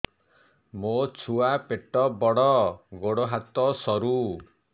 ମୋ ଛୁଆ ପେଟ ବଡ଼ ଗୋଡ଼ ହାତ ସରୁ